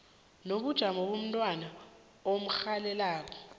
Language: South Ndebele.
nobujamo bomntwana omrholelako